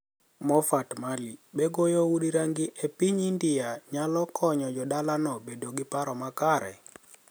Mofart Mali: Be goyo udi ranigi e piniy Inidia niyalo koniyo jo dalano bedo gi paro makare?